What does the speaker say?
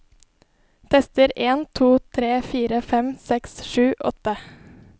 Tester en to tre fire fem seks sju åtte